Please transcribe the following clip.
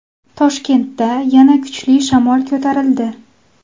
Toshkentda yana kuchli shamol ko‘tarildi.